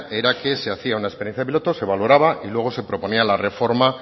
era que se hacía una experiencia piloto se valoraba y luego se proponía la reforma